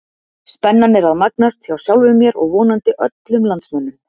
Spennan er að magnast, hjá sjálfum mér og vonandi öllum landsmönnum!